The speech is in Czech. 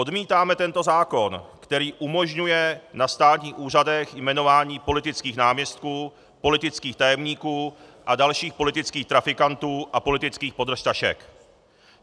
Odmítáme tento zákon, který umožňuje na státních úřadech jmenování politických náměstků, politických tajemníků a dalších politických trafikantů a politických podržtašek.